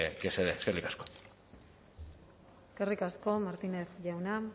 que se dé eskerrik asko eskerrik asko martínez jauna